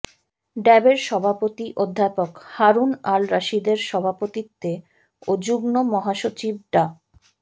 ড্যাবের সভাপতি অধ্যাপক হারুন আল রশীদের সভাপতিত্বে ও যুগ্ম মহাসচিব ডা